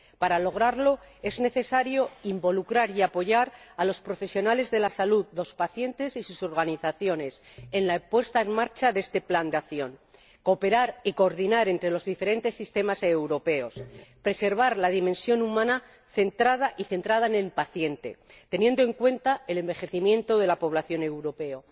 Para lograrlo, es necesario involucrar y apoyar a los profesionales de la salud, los pacientes y sus organizaciones en la puesta en marcha de este plan de acción, cooperar y coordinar con los diferentes sistemas europeos, y preservar la dimensión humana y centrada en el paciente, teniendo en cuenta el envejecimiento de la población europea.